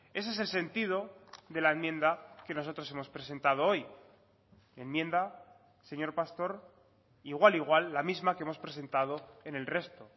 ese es el sentido de la enmienda que nosotros hemos presentado hoy enmienda señor pastor igual igual la misma que hemos presentado en el resto